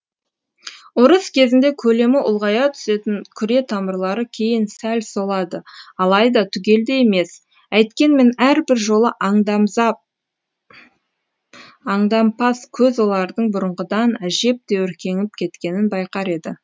ұрыс кезінде көлемі ұлғая түсетін күре тамырлары кейін сәл солады алайда түгелдей емес әйткенмен әрбір жолы аңдампаз көз олардьң бұрынғыдан әжептәуір кеңіп кеткенін байқар еді